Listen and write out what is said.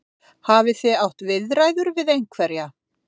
Þorbjörn: Hafið þið átt viðræður við einhverja?